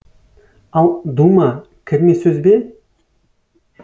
ал дума кірме сөз бе